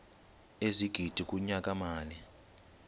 ezigidi kunyaka mali